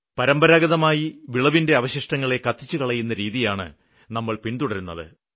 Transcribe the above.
പരമ്പരാഗതമായി വിളവിന്റെ അവശിഷ്ടങ്ങളെ കത്തിച്ച് കളയുന്ന രീതിയാണ് നമ്മള് പിന്തുടരുന്നത്